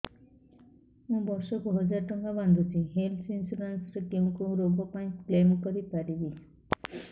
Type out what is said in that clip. ମୁଁ ବର୍ଷ କୁ ହଜାର ଟଙ୍କା ବାନ୍ଧୁଛି ହେଲ୍ଥ ଇନ୍ସୁରାନ୍ସ ରେ କୋଉ କୋଉ ରୋଗ ପାଇଁ କ୍ଳେମ କରିପାରିବି